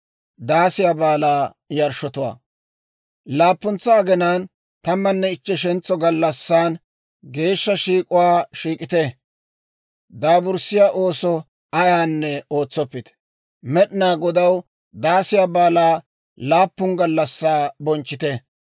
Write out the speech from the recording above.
« ‹Laappuntsa aginaan tammanne ichcheshentso gallassan, geeshsha shiik'uwaa shiik'ite; daaburssiyaa ooso ayaanne ootsoppite. Med'inaa Godaw Daasiyaa Baalaa laappun gallassaa bonchchite.